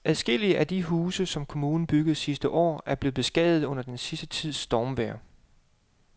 Adskillige af de huse, som kommunen byggede sidste år, er blevet beskadiget under den sidste tids stormvejr.